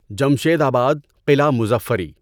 جمشید آباد، قلعہ مظفری